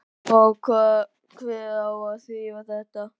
Og hver á að þrífa þetta?